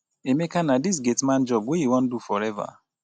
emeka na dis gate man job wey you wan do forever?